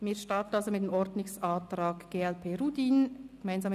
Wir starten also mit dem Ordnungsantrag von Michel Rudin, glp: